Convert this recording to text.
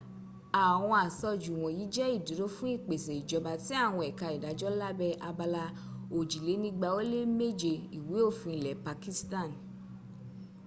àwọn asojú wọ̀nyí jẹ́ ìdúró fún ìpèse ìjọba àti àwọn ẹka ìdájọ́ lábẹ́ abala òjìlénígba ó lé méje ìwé òfin ilẹ̀ pakistan